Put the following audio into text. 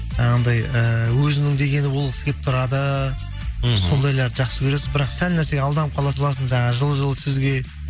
анандай ііі өзінің дегені болғысы келіп тұрады мхм сондайларды жақсы көресің бірақ сәл нәрсеге алданып қала саласың жаңағы жылы жылы сөзге